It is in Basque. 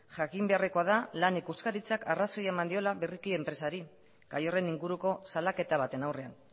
jakin beharrekoa da lan ikuskaritzak arrazoia eman diola berriki enpresari gai horren inguruko salaketa baten aurrean